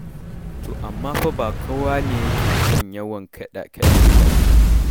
To amma fa ba kowa ne yake son yawan kaɗe-kaɗe ba.